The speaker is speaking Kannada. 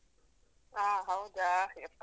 ಆ ಹೌದಾ ಯಪ್ಪಾ.